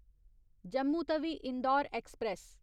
Jammu Tawi Indore express